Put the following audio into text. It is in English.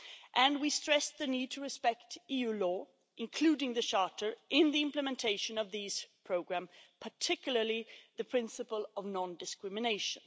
and we stressed the need to respect EU law, including the Charter, in the implementation of these programmes, particularly the principle of non discrimination.